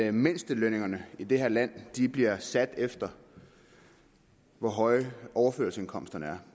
at mindstelønningerne i det her land bliver sat efter hvor høje overførselsindkomsterne er